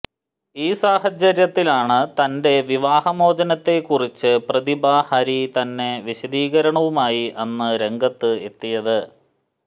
ഈ സാഹചര്യത്തിലാണ് തന്റെ വിവാഹമോചനത്തെക്കുറിച്ച് പ്രതിഭ ഹരി തന്നെ വിശദീകരണവുമായി അന്ന് രംഗത്ത് എത്തിയത്